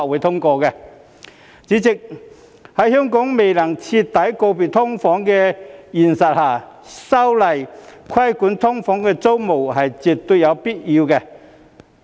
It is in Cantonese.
代理主席，香港在未能徹底告別"劏房"的現實下，修例規管"劏房"租務是絕對有必要的。